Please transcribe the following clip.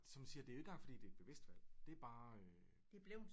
Som du siger det er jo ikke engang fordi det er et bevidst valg det er bare øh